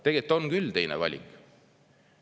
Tegelikult on küll teine valik.